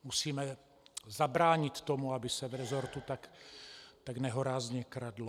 Musíme zabránit tomu, aby se v resortu tak nehorázně kradlo.